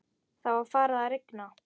Það var farið að rigna.